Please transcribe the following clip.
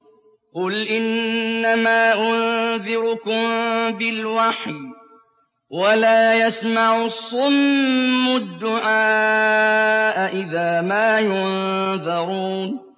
قُلْ إِنَّمَا أُنذِرُكُم بِالْوَحْيِ ۚ وَلَا يَسْمَعُ الصُّمُّ الدُّعَاءَ إِذَا مَا يُنذَرُونَ